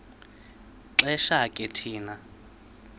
xesha ke thina